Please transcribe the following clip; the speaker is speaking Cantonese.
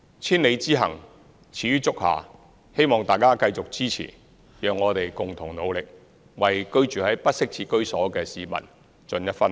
千里之行，始於足下，希望大家繼續支持，讓我們共同努力，為居住在不適切居所的市民盡一分力。